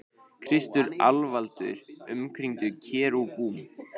Kristur alvaldur umkringdur kerúbum.